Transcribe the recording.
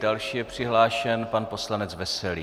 Další je přihlášen pan poslanec Veselý.